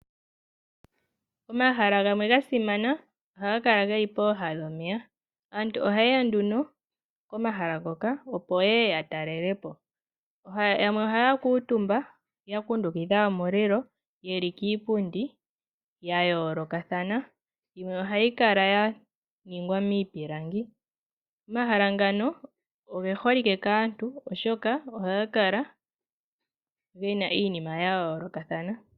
Omahala gamwe ga simana ohaga kala ge li pooha dhomeya. Aantu ohaye ya nduno pomaha ngoka, opo ye ye ya talele po. Yamwe ohaya kuutumba ya kundukidha omulilo ye li kiipundi ya yoolokathana. Yimwe ohayi kala ya ningwa miipilangi. Omahala ngano oge holike kaantu, oshoka ohaga kala ge na iinima ya yoolokathana.